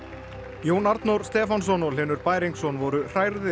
Jón Arnór Stefánsson og Hlynur Bæringsson voru